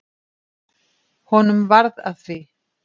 Honum varð að því.